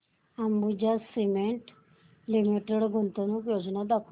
Ambuja cement limited गुंतवणूक योजना दाखव